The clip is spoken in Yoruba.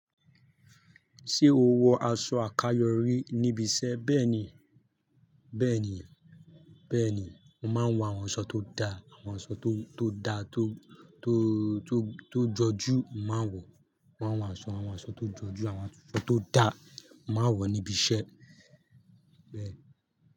Ṣé o wọ aṣọ àkayò rí níbi iṣẹ́? Bẹ́ẹ̀ni, mo ma n wọ àwọn aṣọ tó daa, àwọn aṣọ tó jọju. Mo máa ń wọ àwọn aṣọ, àwọn aṣọ tó jọjú, àwọn aṣọ tó da, màá wọ̀ níbi iṣẹ́.